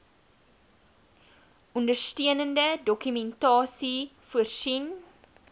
ondersteunende dokumentasie voorsien